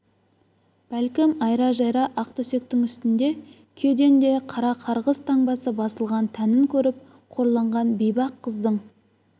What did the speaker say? бәлкім айра-жайра ақ төсектің үстінде күйеден де қара қарғыс таңбасы басылған тәнін көріп қорланған бейбақ қыздың